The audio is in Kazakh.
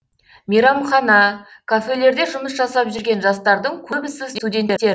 мейрамхана кафелерде жұмыс жасап жүрген жастардың көбісі студенттер